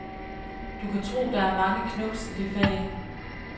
Du kan tro, der er mange knubs i det fag.